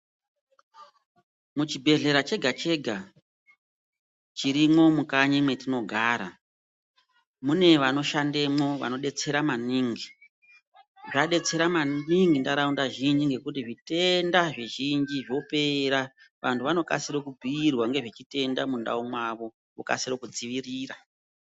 Muchibhedhlera chega-chega chirimwo mukanyi mwetinogara, mune vanoshandemwo vanodetsera maningi. Vadetsera maningi ntaraunda zvinji ngekuti zvitenda zvizhinji zvopera. Vantu vanokasira kubhiirwa ngezvechitenda mundau mwavo, vokasire kudzivirira.